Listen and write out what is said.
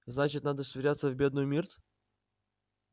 значит надо швыряться в бедную мирт